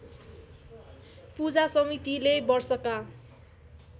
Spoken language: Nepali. पूजा समितिले वर्षका